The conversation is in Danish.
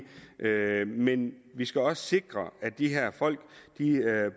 men vi skal også sikre at de her folk